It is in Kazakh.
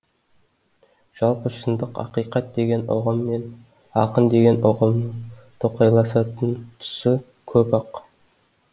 жалпы шындық ақиқат деген ұғым мен ақын деген ұғымның тоқайласатын тұсы көп ақ